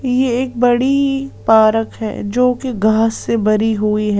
यहएकबड़ी park हैजो कि घास से भरी हुई है।